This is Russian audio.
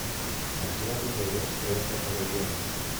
сантьяго де лос трейнта кабальерос